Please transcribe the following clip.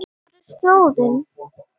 Hver er slóðin?